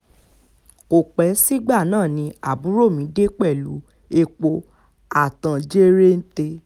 kò pẹ́ sígbà náà ni àbúrò mi dé pẹ̀lú epo a tán jẹ̀rẹ̀ǹtẹ̀